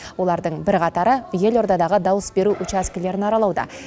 олардың бірқатары елордадағы дауыс беру учаскелерін аралауда